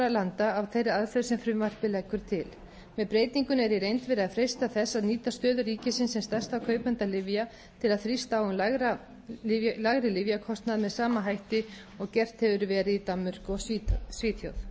landa af þeirri aðferð sem frumvarpið leggur til með breytingunni er í reynd verið að freista þess að nýta stöðu ríkisins sem stærsta kaupanda lyfja til að þrýsta á um lægri lyfjakostnað með sama hætti og gert hefur verið í danmörku og